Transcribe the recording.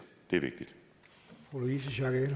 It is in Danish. det